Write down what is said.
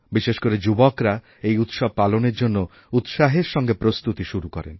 বিশেষ করেযুবকরা এই উৎসব পালনের জন্য উৎসাহের সঙ্গে প্রস্তুতি শুরু করেন